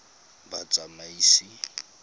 batsamaisi